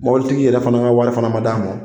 Mɔbilitigi yɛrɛ fana ka wari fana ma d'a ma.